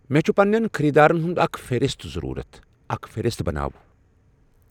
مے چُِھ پنٛنٮ۪ن خٔریٖدارن ہُند اکھ فہرست ضرورت، اکھ فہرست بناو۔